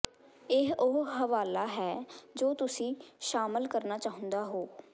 ਇਹ ਉਹ ਹਵਾਲਾ ਹੈ ਜੋ ਤੁਸੀਂ ਸ਼ਾਮਲ ਕਰਨਾ ਚਾਹੁੰਦੇ ਹੋ